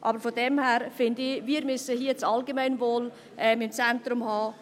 Aber daher finde ich, wir müssen hier im Grossen Rat das Allgemeinwohl im Zentrum haben.